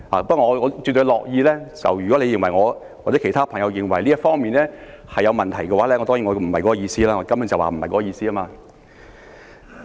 不過，如果他或者其他朋友認為我在這方面有問題，我要表示，我根本不是那個意思。